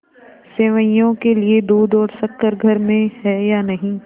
सेवैयों के लिए दूध और शक्कर घर में है या नहीं